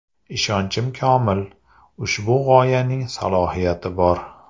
Ishonchim komil, ushbu g‘oyaning salohiyati bor.